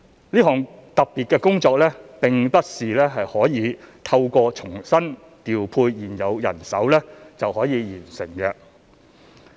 這項特別工作並不是可以透過重新調配現有人手就可以完成的。